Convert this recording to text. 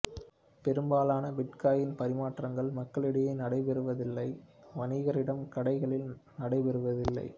பெரும்பாலான பிட்காயின் பரிமாற்றங்கள் மக்களிடையே நடைபெறுவதில்லை வணிகரிடம் கடைகளில் நடை பெறுவதில்லை